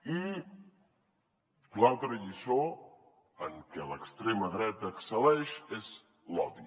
i l’altra lliçó en què l’extrema dreta excel·leix és l’odi